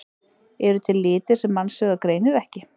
Eru til litir sem mannsaugað greinir ekki?